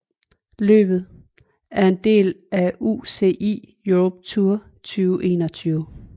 Løbet er en del af UCI Europe Tour 2021